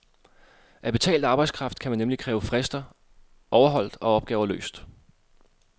Af betalt arbejdskraft kan man nemlig kræve frister overholdt og opgaver løst.